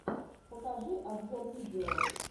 покажи обзор видео